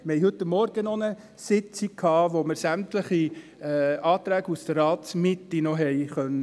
Wir hatten heute Morgen noch eine Sitzung, an der wir sämtliche Anträge aus der Ratsmitte besprechen konnten.